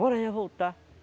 Bora já voltar.